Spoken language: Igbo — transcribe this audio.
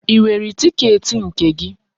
Ị nwere tiketi nke gị?